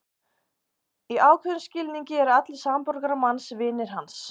Í ákveðnum skilningi eru allir samborgarar manns vinir hans.